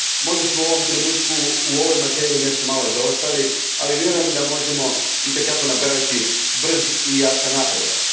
Možda smo u ovom trenutku u ovoj materiji nešto malo zaostali, ali vjerujem da možemo i te kako napraviti brz i jasan napredak.